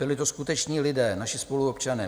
Byli to skuteční lidé, naši spoluobčané.